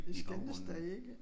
Vi skændtes da ikke